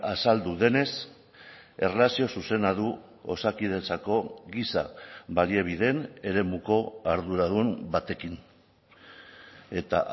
azaldu denez erlazio zuzena du osakidetzako giza baliabideen eremuko arduradun batekin eta